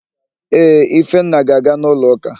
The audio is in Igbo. Ee, Ifenna ga-aga n'ụlọụ́kà.